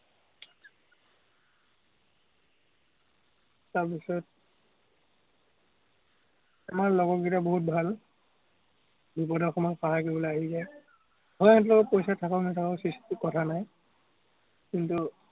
তাৰ পিছত, আমাৰ লগৰ বহুত ভাল। বিপদৰ সময়ত সহায় কৰিবলৈ আহি যায়। হয় সিহঁতৰ লগত পইচা থাকক-নাথাকক কথা নাই, কিন্তু